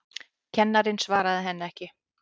Kennarinn svaraði henni ekki.